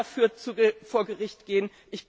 Wir werden dafür vor Gericht gehen.